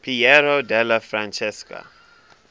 piero della francesca